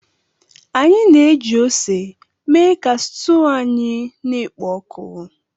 Anyị na-eji ose mee ka stuu anyị na-ekpo oku.